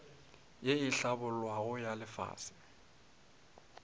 ye e hlabollwago ya lefase